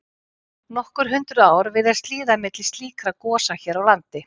Nokkur hundruð ár virðast líða milli slíkra gosa hér á landi.